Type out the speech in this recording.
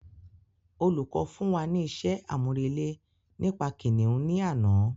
Olùkọ̀ fún wa ní isé àmúrelé nípa kìnìún ní àná